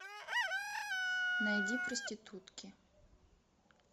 найди проститутки